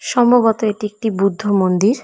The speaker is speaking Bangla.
সম্ভবত এটি একটি বুদ্ধ মন্দির।